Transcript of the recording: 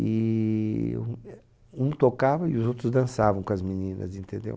E um tocava e os outros dançavam com as meninas, entendeu?